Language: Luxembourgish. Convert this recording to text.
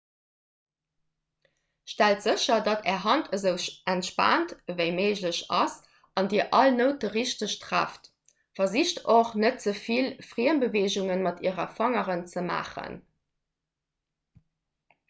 stellt sécher datt är hand esou entspaant ewéi méiglech ass an dir all noute richteg trefft versicht och net ze vill friembeweegunge mat äre fangeren ze maachen